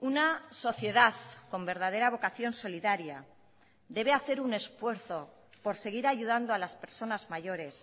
una sociedad con verdadera vocación solidaria debe hacer un esfuerzo por seguir ayudando a las personas mayores